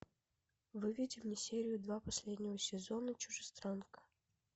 выведи мне серию два последнего сезона чужестранка